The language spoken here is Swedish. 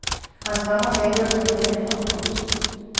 Hans mamma slängde ut honom hemifrån. punkt